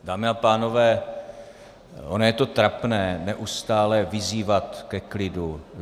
Dámy a pánové, ono je to trapné neustále vyzývat ke klidu.